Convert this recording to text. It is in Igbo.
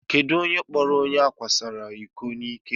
Kedụ onye kpọọrọ onye ákwásoro iko n'ike?